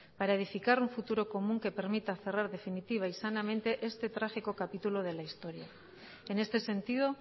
para edificar un futuro común que permita cerrar definitiva y sanamente este trágico capítulo de la historia en este sentido